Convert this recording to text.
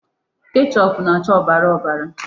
Kechoopụ na-acha ọbara ọbara.